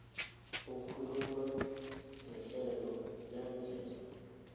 ukukhula kuhlelo lemvelo